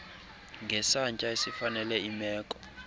ngesantya esifanele imeko